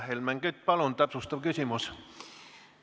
Helmen Kütt, palun täpsustav küsimus!